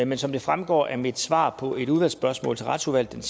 men som det fremgår af mit svar på et udvalgsspørgsmål til retsudvalget